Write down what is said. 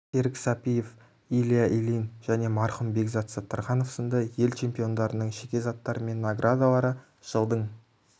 серік сәпиев илья ильин және марқұм бекзат саттарханов сынды ел чемпиондарының жеке заттары мен наградалары жылдың